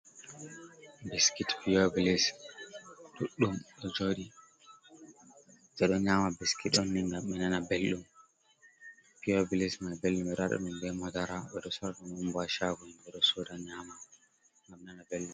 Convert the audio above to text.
Biscuit pure bliss duddum do jodi. Bedo nyama biscuit onni ngam be nana beldum. Pure bliss mai beldum bedo wada dum be madara. Bedo sora dum bo ha shago, bedo soda nyama ngam be nana beldum.